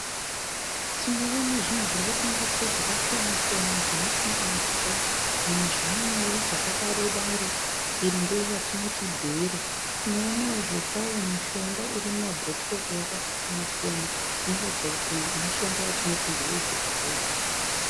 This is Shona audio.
Tinoona zvinhu zviri kutengeswa zvakasiyana-siyana zvinoti mbatya nezvimwewo zvakadaro-daro. Iri ndiro ratinoti bhero. Tinoonawo zvekare mishonga iri mumabhotoro yakasiyanana siyana inoratidza kuti mishonga yatinoti ndeyechibhoyi.